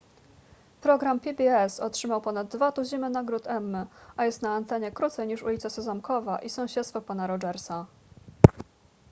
program pbs otrzymał ponad dwa tuziny nagród emmy a jest na antenie krócej niż ulica sezamkowa i sąsiedztwo pana rogersa